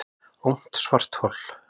Ungt svarthol